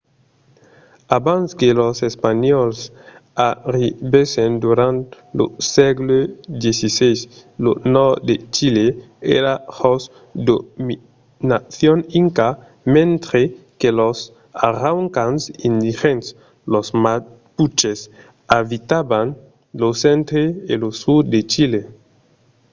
abans que los espanhòls arribèssen durant lo sègle xvi lo nòrd de chile èra jos dominacion inca mentre que los araucans indigèns los mapuches abitavan lo centre e lo sud de chile